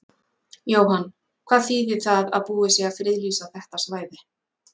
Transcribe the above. Jóhann, hvað þýðir það að búið sé að friðlýsa þetta svæði?